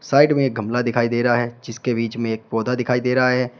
Side में गमला दिखाई दे रहा है जिसके बीच में एक पौधा दिखाई दे रहा है।